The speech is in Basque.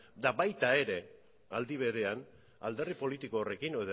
eta baita ere aldi berean alderdi politiko horrekin